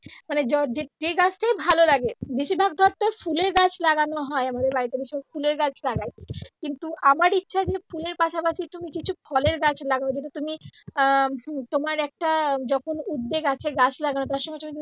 মানে য যেই গাছটাই ভালো লাগে বেশিরভাগ ধর ফুলের গাছ লাগানো আমাদের বাড়ীতে ভীষণ ফুলের গাছ লাগাই কিন্তু আমার ইচ্ছা যে ফুলের পাশাপাশি তুমি কিছু ফলের গাছ লাগাও because তুমি আহ হুম তোমার একটা যখন একটা উদ্দ্যেগ আছে গাছ লাগানো তার সঙ্গে সঙ্গে।